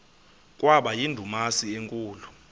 kwaba yindumasi enkulu